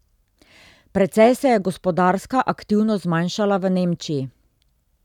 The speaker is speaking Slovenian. Precej se je gospodarska aktivnost zmanjšala v Nemčiji.